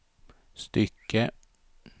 stycke